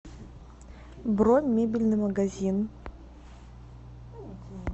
бронь мебельный магазин